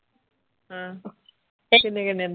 ਅਹ ਤੇ ਕਿੰਨੇ ਕਿੰਨੇ ਦਾ?